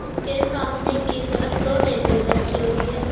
उसके सामने की तरफ दो टेबल रखी हुई है।